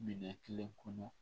Minɛn kelen kɔnɔ